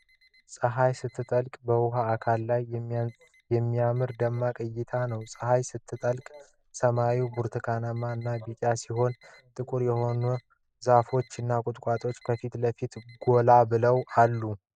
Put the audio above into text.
ጸሀይ ስትጠልቅ በውሃ አካል ላይ የሚያምር ደማቅ እይታ ነው። ፀሐይ ስትጠልቅ ሰማዩ ብርቱካንማ እና ቢጫ ሲሆን፣ ጥቁር የሆኑ ዛፎች እና ቁጥቋጦዎች ከፊት ለፊቱ ጎላ ብለው አሉ።